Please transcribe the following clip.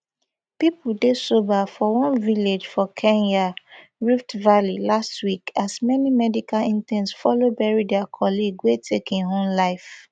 pipo dey sober for one village for kenya rift valley last week as many medical interns follow bury dia colleague wey take im own life